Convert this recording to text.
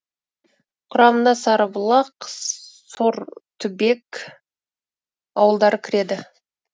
құрамына сарыбұлақ сортүбек ауылдары кіреді